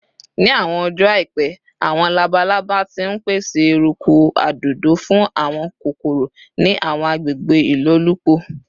Ni awọn ọjọ aipẹ, awọn labalaba ti n pese eruku adodo fun awọn kokoro ni awọn agbegbe ilolupo